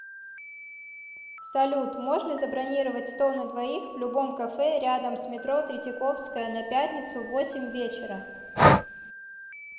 салют можно забронировать стол на двоих в любом кафе рядом с метро третьяковская на пятницу восемь вечера